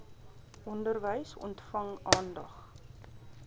onderwys ontvang aandag